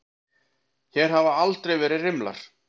Hér hafa aldrei verið rimlar.